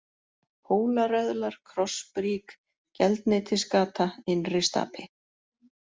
Hólaröðlar, Krossbrík, Geldneytisgata, Innristapi